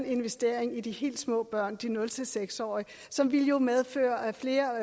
investeringen i de helt små børn de nul seks årige som jo ville medføre flere